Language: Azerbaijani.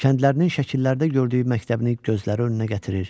Kəndlərinin şəkillərdə gördüyü məktəbini gözləri önünə gətirir.